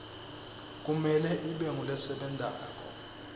kumele ibe ngulesebentako